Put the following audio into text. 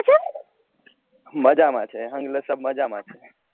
મજામાં છે અહિયાં સબ મજામાં છે